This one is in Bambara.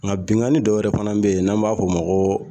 Nka binnkanni dɔ wɛrɛ fana bɛ yen n'an b'a fɔ o ma ko